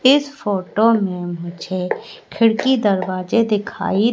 इस फोटो में मुझे खिड़की दरवाजे दिखाई--